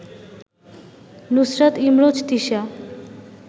Nusrat Imroz Tisha